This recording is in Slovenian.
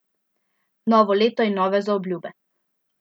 Novo leto in nove zaobljube!